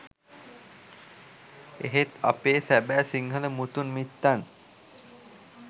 එහෙත් අපේ සැබෑ සිංහල මුතුන් මිත්තන්